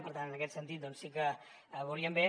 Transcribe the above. per tant en aquest sentit doncs sí que ho veuríem bé